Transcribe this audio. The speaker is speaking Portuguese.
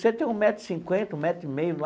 Você tem um metro e cinquenta, um metro e meio.